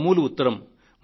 మామూలు ఉత్తరం